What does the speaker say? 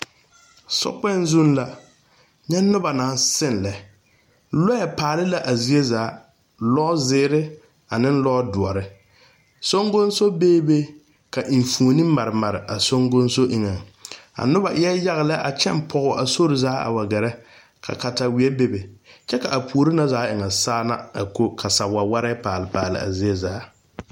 Sokpɛŋ zuŋ la nyɛ noba naŋ seŋ lɛ loɛ paale la a zie zaa lozeerr ane lodoɔre soŋgoŋso bee be ka enfuoni mare mare a soŋgoŋso eŋaŋ a noba eɛ yaga lɛ a kyɛ pɔge a sori zaa a wa gɛrɛ ka kataweɛ bebe kyɛ ka a puori na zaa e ŋa Saana a ko ka wawarɛɛ a pa a zie zaa.